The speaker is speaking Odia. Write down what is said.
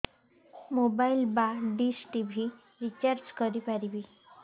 ମୋବାଇଲ୍ ବା ଡିସ୍ ଟିଭି ରିଚାର୍ଜ କରି ପାରିବି